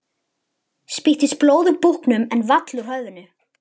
Spýttist blóð úr búknum en vall úr höfðinu.